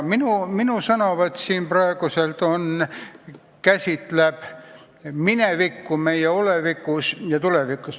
Minu sõnavõtt siin ja praegu käsitleb minevikku meie olevikus ja tulevikus.